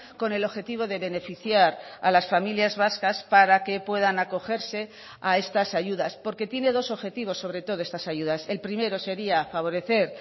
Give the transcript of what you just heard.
con el objetivo de beneficiar a las familias vascas para que puedan acogerse a estas ayudas porque tiene dos objetivos sobre todo estas ayudas el primero sería favorecer